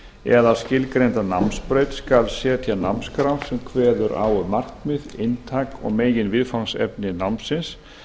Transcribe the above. eða skilgreinda námsbraut skal setja námskrá sem kveður á um markmið inntak og meginviðfangsefni námsins